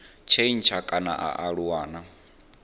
tshintsha kana a aluwa na